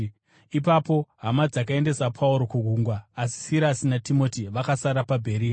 Ipapo hama dzakaendesa Pauro kugungwa, asi Sirasi naTimoti vakasara paBheria.